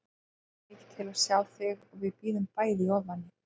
Hann hlakkar mikið til að sjá þig og við bíðum bæði í ofvæni